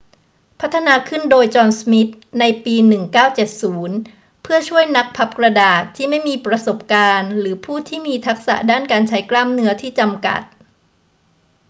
พัฒนาขึ้นโดย จอห์น สมิธ ในปี 1970 เพื่อช่วยนักพับกระดาษที่ไม่มีประสบการณ์หรือผู้ที่มีทักษะด้านการใช้กล้ามเนื้อที่จำกัด